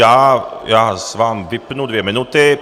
Já vám vypnu dvě minuty.